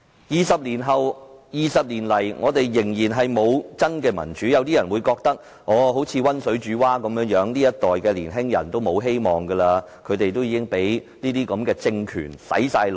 二十年來，我們仍然沒有真民主，於是有人以為現時就像溫水煮蛙般，這一代年輕人已經沒有希望，他們都已經被政權"洗腦"。